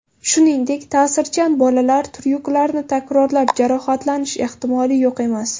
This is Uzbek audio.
Shuningdek, ta’sirchan bolalar tryuklarni takrorlab, jarohatlanish ehtimoli yo‘q emas.